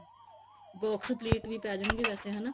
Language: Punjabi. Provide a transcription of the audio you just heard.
box plate ਵੀ ਪੈ ਜਾਣਗੇ ਵੈਸੇ ਹਨਾ